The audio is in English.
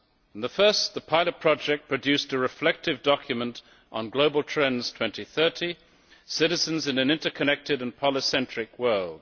In the first, the pilot project produced a reflective document on Global trends 2030 Citizens in an interconnected and polycentric world'.